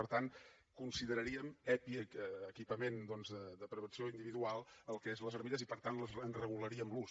per tant consideraríem epi equipament de protecció individual el que és les armilles i per tant en regularíem l’ús